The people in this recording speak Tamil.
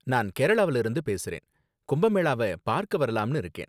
நான் கேரளாவுல இருந்து பேசுறேன், கும்ப மேளாவ பார்க்க வரலாம்னு இருக்கேன்